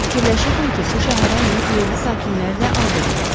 Mən fikirləşirdim ki, bu şəhərə enib yerli sakinlərlə alver edək.